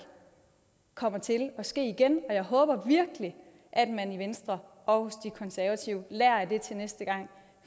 kommer til at ske igen og jeg håber virkelig at man i venstre og hos de konservative lærer af det til næste gang